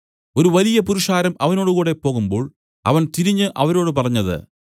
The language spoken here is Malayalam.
ഒരു വലിയ പുരുഷാരം അവനോടുകൂടെ പോകുമ്പോൾ അവൻ തിരിഞ്ഞു അവരോട് പറഞ്ഞത്